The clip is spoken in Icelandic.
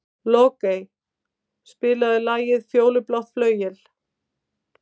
Logey, spilaðu lagið „Fjólublátt flauel“.